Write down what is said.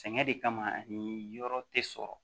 Sɛgɛn de kama ani yɔrɔ tɛ sɔrɔ